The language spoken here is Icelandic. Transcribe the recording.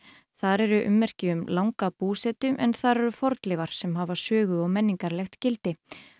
þar eru ummerki um langa búsetu en þar eru fornleifar sem hafa sögu og menningarlegt gildi